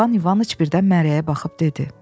İvan İvanıç birdən Məryəyə baxıb dedi: